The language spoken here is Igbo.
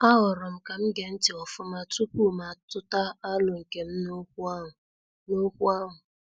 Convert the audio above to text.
A horom kam gee ntị ofuma tupu ma atuta alo nkem n' okwu ahụ. n' okwu ahụ.